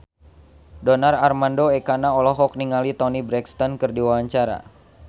Donar Armando Ekana olohok ningali Toni Brexton keur diwawancara